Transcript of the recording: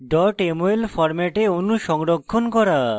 mol ফরম্যাটে অণু সংরক্ষণ করা